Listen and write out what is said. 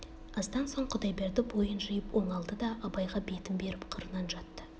аздан соң құдайберді бойын жиып оңалды да абайға бетін беріп қырынан жатты